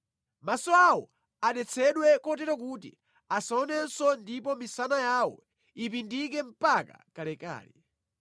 Maso awo adetsedwe kotero kuti asaonenso ndipo misana yawo ipindike mpaka kalekale.